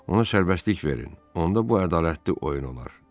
Ona sərbəstlik verin, onda bu ədalətli oyun olar.